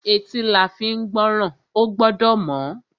Etí la fín gbọ́ràn. Ó gbọ́dọ̀ mọ́.